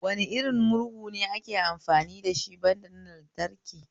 Wane irin murhu ne ake amfani dashi banda na lantraki?